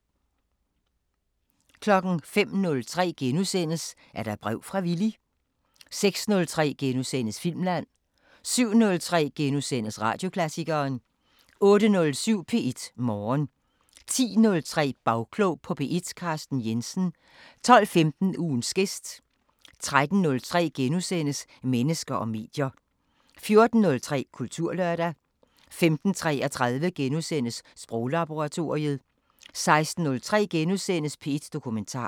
05:03: Er der brev fra Villy? * 06:03: Filmland * 07:03: Radioklassikeren * 08:07: P1 Morgen 10:03: Bagklog på P1: Carsten Jensen 12:15: Ugens gæst 13:03: Mennesker og medier * 14:03: Kulturlørdag 15:33: Sproglaboratoriet * 16:03: P1 Dokumentar *